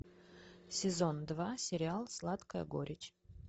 сезон два сериал сладкая горечь